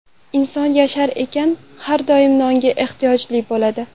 Inson yashar ekan har doim nonga ehtiyoji bo‘ladi.